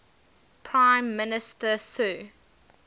prime minister sir